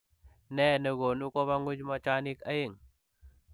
Ne nekonuu kobaa nguuny machaniik oeng ?